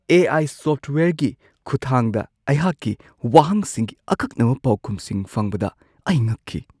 ꯑꯦ. I. ꯁꯣꯐꯠꯋꯦꯌꯔꯒꯤ ꯈꯨꯠꯊꯥꯡꯗ ꯑꯩꯍꯥꯛꯀꯤ ꯋꯥꯍꯪꯁꯤꯡꯒꯤ ꯑꯀꯛꯅꯕ ꯄꯥꯎꯈꯨꯝꯁꯤꯡ ꯐꯪꯕꯗ ꯑꯩ ꯉꯛꯈꯤ꯫